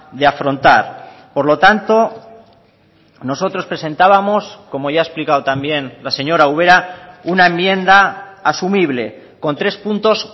de afrontar por lo tanto nosotros presentábamos como ya ha explicado también la señora ubera una enmienda asumible con tres puntos